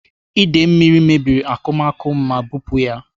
Ide mmiri mebiri n'akụmakụ m ma bupu ya.